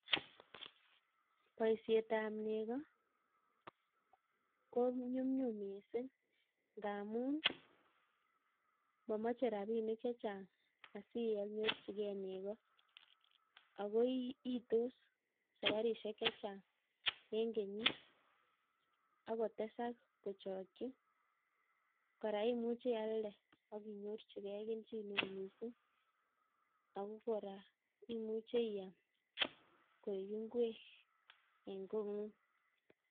Boisiet ap nego konyumnyum miising' ngaamun mameche rabanik chechang' asiyanyorchigei nego akoiitos safarisiek chechang' eng' kenyit akotesak kochokchi kora imuchi ialde akinyorchigei kelchin neoo miising' ako kora imuche iyam koek ngwek ing' kong'ung'